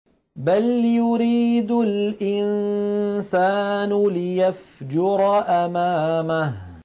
بَلْ يُرِيدُ الْإِنسَانُ لِيَفْجُرَ أَمَامَهُ